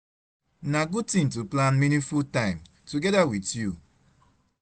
Na good thing to plan meaningful time together with you